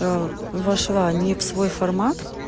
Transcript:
вошла ни в свой формат